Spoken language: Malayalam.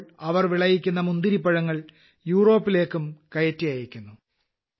ഇപ്പോൾ അവർ വിളയിക്കുന്ന മുന്തിരിപ്പഴങ്ങൾ യൂറോപ്പിലേയ്ക്കും കയറ്റി അയയ്ക്കുന്നു